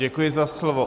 Děkuji za slovo.